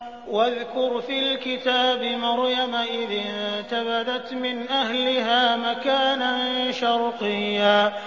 وَاذْكُرْ فِي الْكِتَابِ مَرْيَمَ إِذِ انتَبَذَتْ مِنْ أَهْلِهَا مَكَانًا شَرْقِيًّا